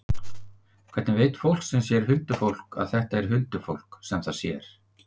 Hvernig veit fólk sem sér huldufólk að þetta er huldufólk sem það sér?